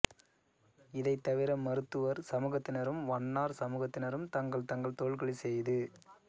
இதை தவிர மருத்துவர் சமூகத்தினரும் வண்ணார் சமூகத்தினரும் தங்கள் தங்கள் தொழில்களை செய்து